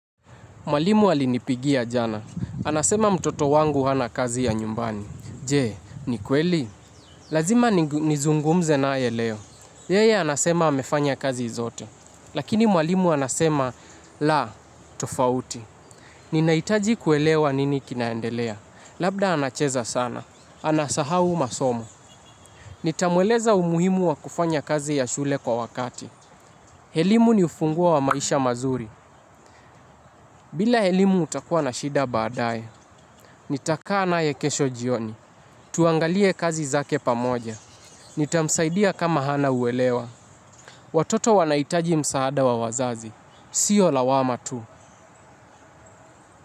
Mwalimu alinipigia jana. Anasema mtoto wangu hana kazi ya nyumbani. Je, ni kweli? Lazima nizungumze naye leo. Yeye anasema amefanya kazi zote. Lakini mwalimu anasema, la, tofauti. Ninahitaji kuelewa nini kinaendelea. Labda anacheza sana. Anasahau masomo. Nitamueleza umuhimu wa kufanya kazi ya shule kwa wakati. Elimu ni ufungoa wa maisha mazuri. Bila elimu utakuwa na shida baadae. Nitakaa naye kesho jioni. Tuangalie kazi zake pamoja. Nitamsaidia kama hana uelewa. Watoto wanahitaji msaada wa wazazi. Sio lawama tu.